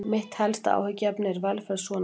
Mitt helsta áhyggjuefni er velferð sonar míns.